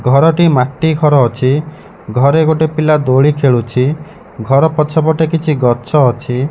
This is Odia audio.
ଘରଟି ମାଟି ଘର ଅଛି ଘରେ ଗୋଟେ ପିଲା ଦୋଳି ଖେଳୁଛି ଘର ପଛ ପଟେ କିଛି ଗଛ ଅଛି।